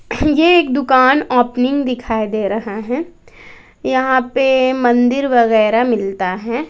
ये एक दुकान ओपनिंग दिखाई दे रहा है यहां पे मंदिर वगैरह मिलता है।